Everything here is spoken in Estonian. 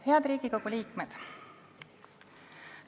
Head Riigikogu liikmed!